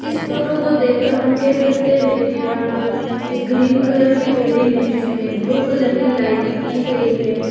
इस फोटो को देखकर हम लोग कह सकते हैं कि यहां पर एक ग्रीन कलर की बिल्डिंग है जिसमें ब्लू कलर की लाइनिंग की गई है।